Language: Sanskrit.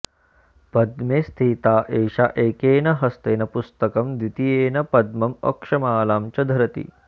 पद्मे स्थिता एषा एकेन हस्तेन पुस्तकं द्वितीयेन पद्मम् अक्षमालां च धरति